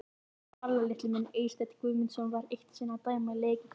Farðu varlega litli minn Eysteinn Guðmundsson var eitt sinn að dæma leik í Keflavík.